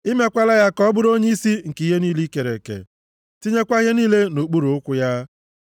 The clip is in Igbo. I mekwaala ya ka ọ bụrụ onyeisi nke ihe niile i kere eke, tinyekwa ihe niile nʼokpuru ụkwụ ya.